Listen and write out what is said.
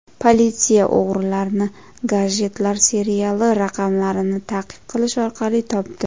Politsiya o‘g‘rilarni gadjetlar seriyali raqamlarini ta’qib qilish orqali topdi.